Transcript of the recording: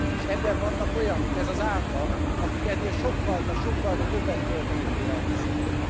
És ebben vannak olyanok ez az átlag akik ennél sokkalta, sokkalta többet költenek élelmiszerre.